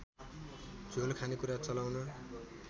झोल खानेकुरा चलाउन